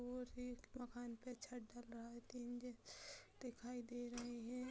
और एक मकान पे छत ढल रहा है तीन जन दिखाई दे रहे हैं।